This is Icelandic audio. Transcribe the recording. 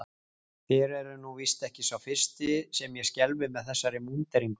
Þér eruð nú víst ekki sá fyrsti sem ég skelfi með þessari múnderingu.